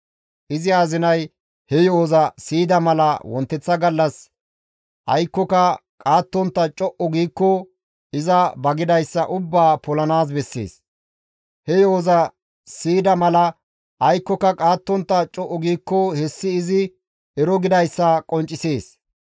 Izi azinay he yo7oza siyida mala wonteththa gallas aykkoka qaattontta co7u giikko iza ba gidayssa ubbaa polanaas bessees; he yo7oza siyida mala aykkoka qaattontta co7u giikko hessi izi ero gidayssa qonccisees.